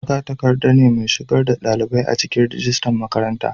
magatakarda ne mai shigar da dalibai cikin rajistan makaranta